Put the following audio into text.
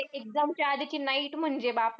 Exam च्या आधीची night म्हणजे, बापरे.